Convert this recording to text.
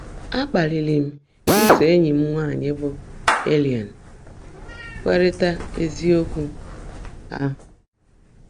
Á kpaàlị́rị́ m ísó éńyí m nwáanyị́ bụ́ Èllẹ̀n keèrị́tá ézíokwú áhụ́.